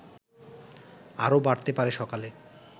আরো বাড়তে পারে সকালে